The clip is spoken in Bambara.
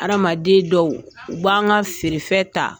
Hadamaden dɔw u b'an ka feerefɛn ta